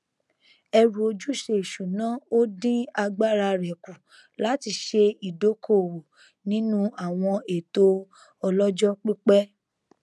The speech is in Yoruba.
ẹrù ojúṣe ìṣúná ò dín agbára rẹ kù láti ṣe ìdókóòwò nínú àwọn ètò ọlọjọ pípẹ